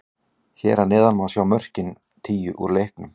Hér að neðan má sjá mörkin tíu úr leiknum.